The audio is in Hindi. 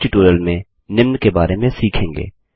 इस ट्यूटोरियल में निम्न के बारे में सीखेंगे